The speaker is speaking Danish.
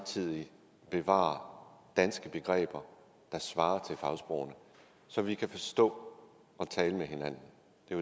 side bevarer danske begreber der svarer til fagsprogene så vi kan forstå og tale med hinanden